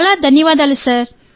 చాలా ధన్యవాదాలు సార్